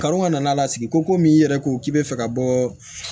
Kanu ka na n'a lasigi komi i yɛrɛ ko k'i bɛ fɛ ka bɔ